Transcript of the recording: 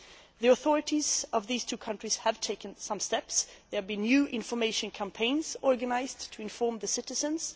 The authorities of these two countries have taken some steps. There have been new information campaigns organised to inform the citizens.